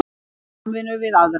Í samvinnu við aðra